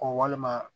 walima